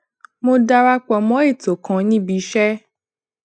mo dara pò mó ètò kan níbi iṣé